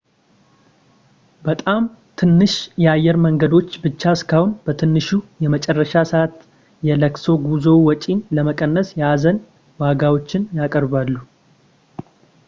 በጣም ትንሽ የአየር መንገዶች ብቻ እስካሁን በትንሹ የመጨረሻ ሰዓት የለቅሶ ጉዞ ወጪን ለመቀነስ የሀዘን ዋጋዎችን ያቀርባሉ